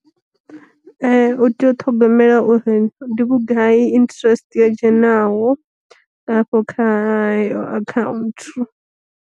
U tea u ṱhogomela uri ndi vhugai interest yo dzhenaho, hafho kha eyo akhaunthu.